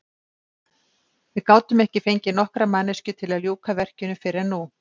Við gátum ekki fengið nokkra manneskju til að ljúka verkinu fyrr en nú.